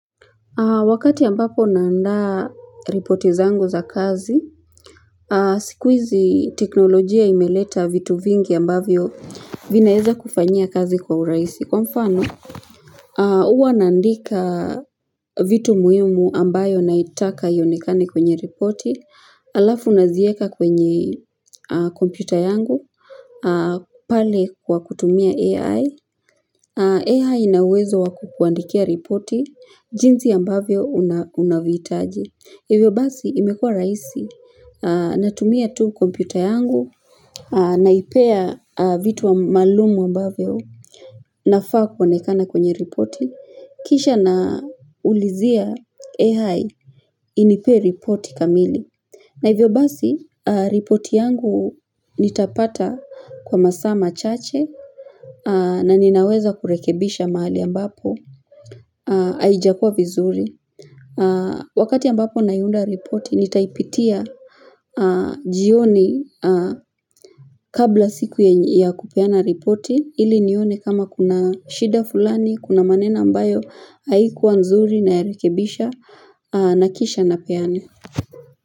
Wakati ambapo naandaa ripoti zangu za kazi, siku hizi teknolojia imeleta vitu vingi ambavyo vinaeza kufanyia kazi kwa urahisi. Kwa mfano, uwa naandika vitu muhimu ambayo naitaka ionekane kwenye ripoti Alafu nazieka kwenye kompyuta yangu pale kwa kutumia AI AI AI inawezo wa kukuandikia ripoti JinSi ambavyo unavyohitaji Hivyo basi imekua rahisi Natumia tu kompyuta yangu Naipea vitu maalum ambavyo nafaa kuenekana kwenye ripoti, kisha naulizia AI inipee ripoti kamili. Na hivyo basi, ripoti yangu nitapata kwa masaa machache na ninaweza kurekebisha mahali ambapo, haijakua vizuri. Wakati ambapo naiunda ripoti, nitaipitia jioni kabla siku ya kupeana ripoti ili nione kama kuna shida fulani, kuna maneno ambayo haikuwa nzuri nayaerekebisha na kisha napeane.